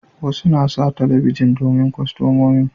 Wasu na sa talabijin domin kastamomi